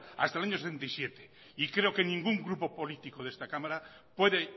hasta el año setenta y siete y creo que ningún grupo político de esta cámara puede